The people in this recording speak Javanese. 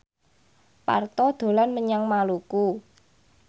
Parto dolan menyang Maluku